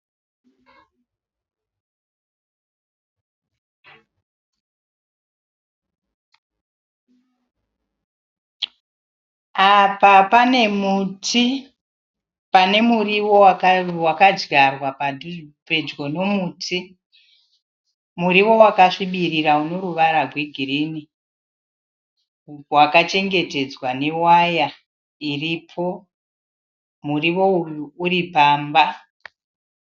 Apa pane muti, panemuriwo wakadyarwa pedyo nomuti. Muriwo wakasvibirira uneruvara rwegirinhi. Wakachengetedzwa newaya iripo. Muriwo uyu uri pamba.